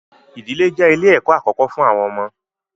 Ìdílé je ilẹ̀ ẹ̀kọ́ àkókó fún àwọn ọmọ.